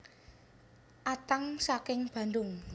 Atang saking Bandung